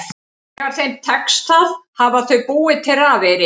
Þegar þeim tekst það hafa þau búið til rafeyri.